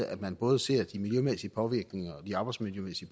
at man både ser de miljømæssige påvirkninger og de arbejdsmiljømæssige